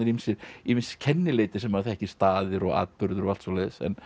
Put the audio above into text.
ýmis kennileiti sem maður þekkir staðir og atburðir og allt svoleiðis